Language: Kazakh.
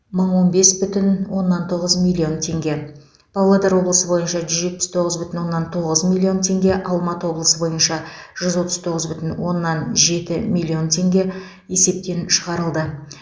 мың он бес бүтін оннан тоғыз миллион теңге павлодар облысы бойынша жүз жетпіс тоғыз бүтін оннан тоғыз миллион теңге алматы облысы бойынша жүз отыз тоғыз бүтін оннан жеті миллион теңге есептен шығарылды